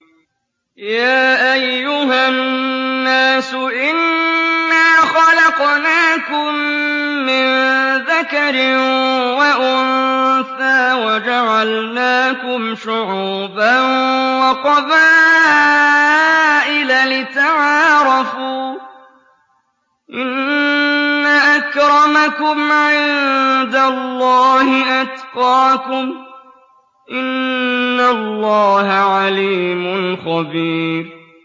يَا أَيُّهَا النَّاسُ إِنَّا خَلَقْنَاكُم مِّن ذَكَرٍ وَأُنثَىٰ وَجَعَلْنَاكُمْ شُعُوبًا وَقَبَائِلَ لِتَعَارَفُوا ۚ إِنَّ أَكْرَمَكُمْ عِندَ اللَّهِ أَتْقَاكُمْ ۚ إِنَّ اللَّهَ عَلِيمٌ خَبِيرٌ